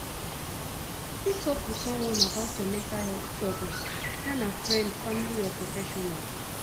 you fit talk to someone about your mental health struggles whether na friend family or professional